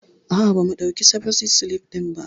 A'a bam ɗauki defosit silif ɗin ba